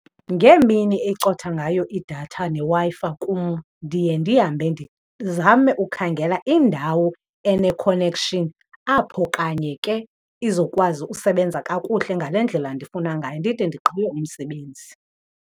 Ngeemini ecotha ngayo idatha neWi-Fi kum ndiye ndihambe ndizame ukhangela indawo ene-connection apho kanye ke izokwazi usebenza kakuhle ngale ndlela ndifuna ngayo ndide ndigqibe umsebenzi.